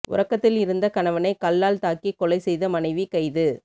உறக்கத்தில் இருந்த கணவனை கல்லால் தாக்கிக் கொலை செய்த மனைவி கைது